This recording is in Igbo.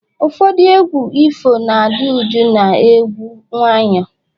ụfọdụ egwu ifo na-adị jụụ na egwu nwayọ